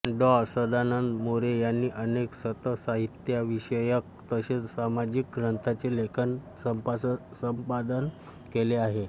डॉ सदानंद मोरे यांनी अनेक संतसाहित्यविषयक तसेच सामाजिक ग्रंथांचे लेखन व संपादन केले आहे